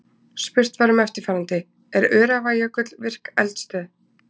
Spurt var um eftirfarandi: Er Öræfajökull virk eldstöð?